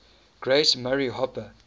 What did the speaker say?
grace murray hopper